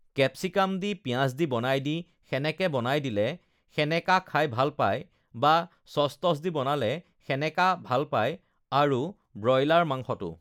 capsicum দি পিঁয়াজ দি বনাই দি সেনেকে বনাই দিলে সেনেকা খাই ভাল পায় বা চচ টচ দি বনালে সেনেকা ভাল পায় আৰু ব্ৰইলাৰ মাংসটো